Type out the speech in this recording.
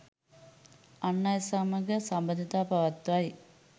අන් අය සමඟ සබඳතා පවත්වයි.